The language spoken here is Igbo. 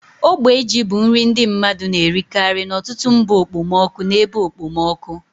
Ogbe ji bụ nri ndi mmadu na-erikari n'ọtụtụ mba okpomọkụ na ebe okpomọkụ.